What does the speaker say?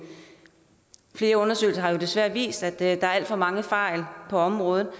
flere undersøgelser har desværre vist at der sker alt for mange fejl på området